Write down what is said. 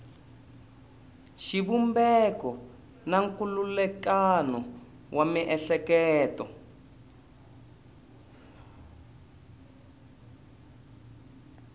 xivumbeko na nkhulukelano wa miehleketo